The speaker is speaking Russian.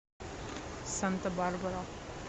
санта барбара